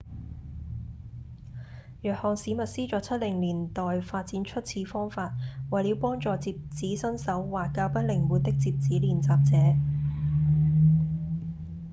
約翰‧史密斯在七零年代發展出此方法為了幫助摺紙新手或較不靈活的摺紙練習者